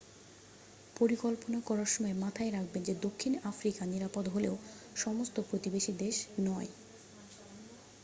পরিকল্পনা করার সময় মাথায় রাখবেন যে দক্ষিণ আফ্রিকা নিরাপদ হলেও সমস্ত প্রতিবেশী দেশ নয়